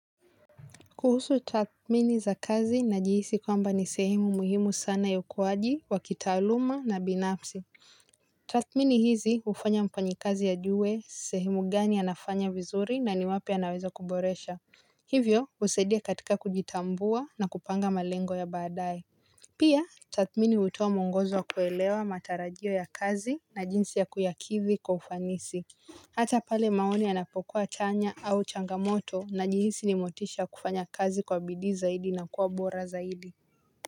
Kuhusu tathmini za kazi na jihisi kwamba ni sehemu muhimu sana ya ukuwaji wa kitaaluma na binafsi. Tathmini hizi hufanya mfanyi kazi ajuwe sehemu gani anafanya vizuri na ni wapi anaweza kuboresha. Hivyo husadia katika kujitambua na kupanga malengo ya baadae. Pia tathmini hutoa muongozo wa kuelewa matarajio ya kazi na jinsi ya kuyakithi kwa ufanisi. Hata pale maoni yanapokua chanya au changamoto najihisi nimotisha kufanya kazi kwa bidii zaidi na kuwa bora zaidi.